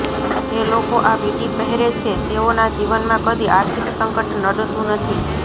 જે લોકો આ વીંટી પહેરે છે તેઓના જીવનમાં કદી આર્થિક સંકટ નડતું નથી